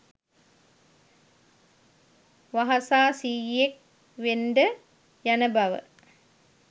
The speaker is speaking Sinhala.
වහසා සීයෙක් වෙන්ඩ යන බව